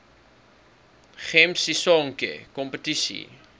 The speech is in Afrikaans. gems sisonke kompetisie